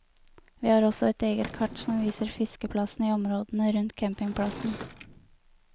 Vi har også et eget kart som viser fiskeplassene i områdene rundt campingplassen.